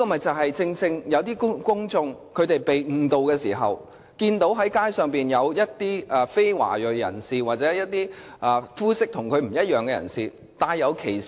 這正是由於公眾被誤導，才會以歧視的目光對待街上的非華裔人士或膚色不同的人。